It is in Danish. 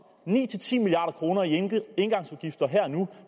ni ti milliard kroner i engangsudgifter her og nu